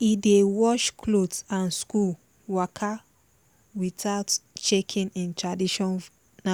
e dey wash cloth and school waka without shaking im traditional